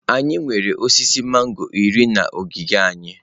Anyị nwere osisi mangọrọ iri na ogige anyi.